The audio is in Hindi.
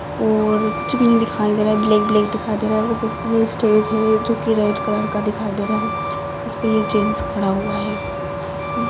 और कुछ भी नहीं दिखाई दे रहा ब्लैक ब्लैक दिखाई दे रहा बस एक ये स्टेज है जो की रेड कलर का दिखाई दे रहा है उसपे ये जेन्स खड़ा हुआ है।